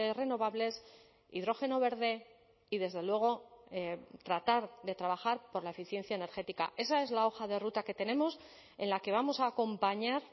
renovables hidrógeno verde y desde luego tratar de trabajar por la eficiencia energética esa es la hoja de ruta que tenemos en la que vamos a acompañar